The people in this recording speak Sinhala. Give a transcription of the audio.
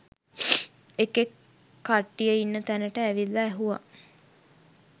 එකෙක් කට්ටිය ඉන්න තැනට ඇවිල්ල ඇහුව